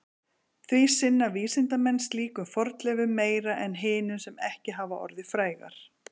Því sinna vísindamenn slíkum fornleifum meira en hinum sem ekki hafa orðið frægar.